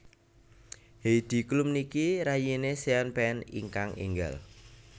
Heidi Klum niki rayine Sean Penn ingkang enggal